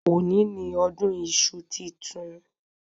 Òní ni ọdún iṣu titun